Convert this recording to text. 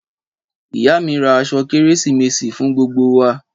Ìyá mi rà àsọ kẹrẹsímèsi fún gbogbo wà